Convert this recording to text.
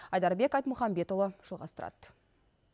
айдарбек айтмұхамбетұлы жалғастырады